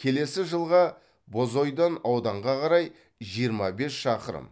келесі жылға бозойдан ауданға қарай жиырма бес шақырым